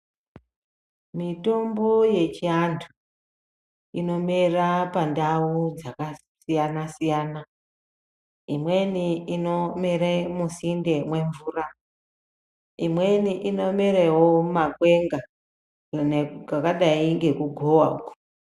Mitombo yechiantu inomera pandau dzakadzakasiyana imweni inomere musinde memvura imweni inomerawo mumakwenga imwe kwakadai nekugowa .